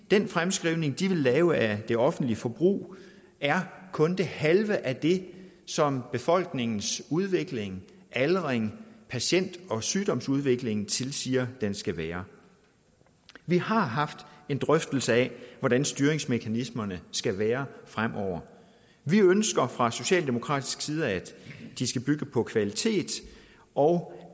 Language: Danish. den fremskrivning de vil lave af det offentlige forbrug er kun det halve af det som befolkningens udvikling aldrings patient og sygdomsudvikling tilsiger der skal være vi har haft en drøftelse af hvordan styringsmekanismerne skal være fremover vi ønsker fra socialdemokratisk side at de skal bygge på kvalitet og